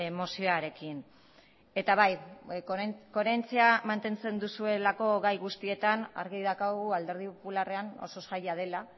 mozioarekin eta bai koherentzia mantentzen duzuelako gai guztietan argi daukagu alderdi popularrean oso zaila dela